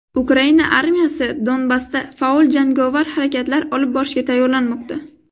Ukraina armiyasi Donbassda faol jangovar harakatlar olib borishga tayyorlanmoqda.